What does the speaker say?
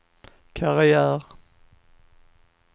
karriär